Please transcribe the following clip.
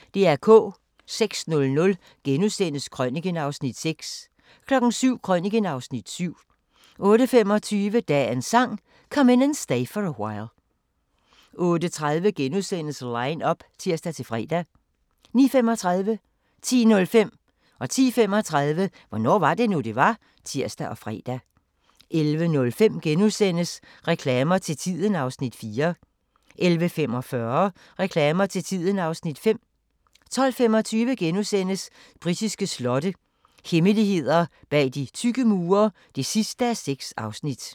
06:00: Krøniken (Afs. 6)* 07:00: Krøniken (Afs. 7) 08:25: Dagens Sang: Come In And Stay For A While 08:30: Line up *(tir-fre) 09:35: Hvornår var det nu, det var? (tir og fre) 10:05: Hvornår var det nu, det var? (tir og fre) 10:35: Hvornår var det nu, det var? (tir og fre) 11:05: Reklamer til tiden (Afs. 4)* 11:45: Reklamer til tiden (Afs. 5) 12:25: Britiske slotte – hemmeligheder bag de tykke mure (6:6)*